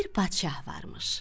Bir padşah varmış.